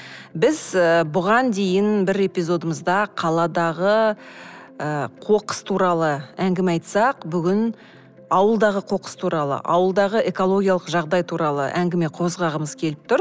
біз ы бұған дейін бір эпизодымызда қаладағы ы қоқыс туралы әңгіме айтсақ бүгін ауылдағы қоқыс туралы ауылдағы экологиялық жағдай туралы әңгіме қозғағымыз келіп тұр